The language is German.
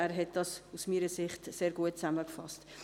Er hat es aus meiner Sicht sehr gut zusammengefasst.